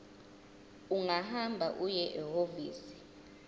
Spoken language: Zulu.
ungahamba uye ehhovisi